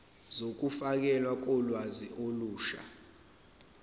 zokufakelwa kolwazi olusha